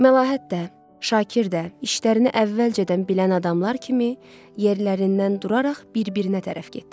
Məlahət də, Şakir də, işlərini əvvəlcədən bilən adamlar kimi yerlərindən duraraq bir-birinə tərəf getdilər.